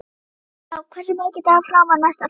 Sæbrá, hversu margir dagar fram að næsta fríi?